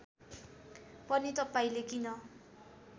पनि तपाईँले किन